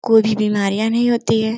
कोई भी बीमारियां नहीं होती है।